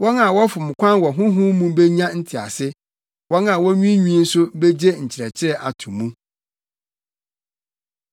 Wɔn a wɔfom kwan wɔ honhom mu benya ntease; wɔn a wonwiinwii nso begye nkyerɛkyerɛ ato mu.”